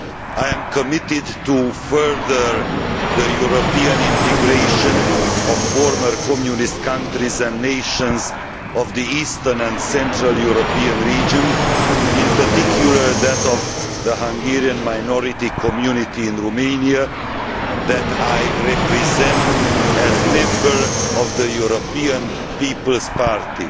I am committed to furthering the European integration of former Communist countries and nations in the Eastern and Central European region, in particular, that of the Hungarian minority community in Romania that I represent as a member of the European People's Party.